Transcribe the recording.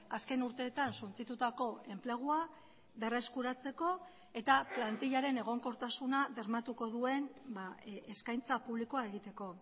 azken urteetan suntsitutako enplegua berreskuratzeko eta plantillaren egonkortasuna bermatuko duen eskaintza publikoa egiteko